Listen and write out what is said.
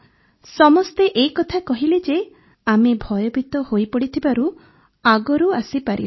ସମସ୍ତେ ଏ କଥା କହିଲେ ଯେ ଆମେ ଭୟଭୀତ ହୋଇପଡ଼ିଥିବାରୁ ଆଗରୁ ଆସିପାରିଲୁନି